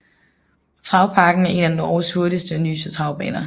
Travparken er en af Norges hurtigste og nyeste travbaner